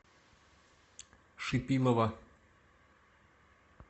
шипилова